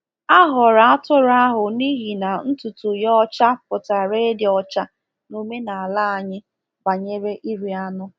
A họọrọ atụrụ ahụ n’ihi na ntutu ya ọcha pụtara ịdị ọcha n’omenala anyị banyere ịrị anụ.